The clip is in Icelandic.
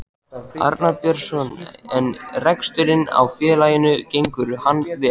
Arnar Björnsson: En reksturinn á félaginu gengur hann vel?